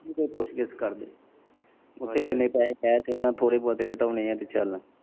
ਕੇੜਾ ਪੁੱਛ ਕਰਦੇ ਉੱਥੇ ਜਿੰਨੇ ਪੈਹੇ ਹੈ ਤੇ ਉਨਾ ਨੇ ਥੌੜੇ ਬੋਤੇ ਘਟਾਨੇ ਐ ਤੇ ਚੱਲ਼।